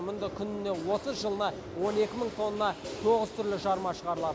мұнда күніне отыз жылына он екі мың тонна тоғыз түрлі жарма шығарылады